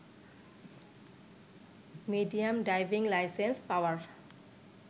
medium driving licence power